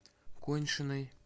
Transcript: коньшиной